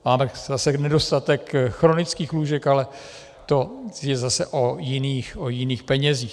Máme zase nedostatek chronických lůžek, ale to je zase o jiných penězích.